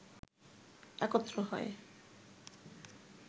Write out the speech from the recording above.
একত্র হয়